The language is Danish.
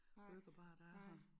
Burgerbarer der er her